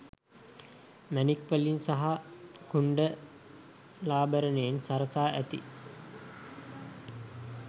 මැණික් වලින් සහ කුණ්ඩලාභරණයෙන් සරසා ඇති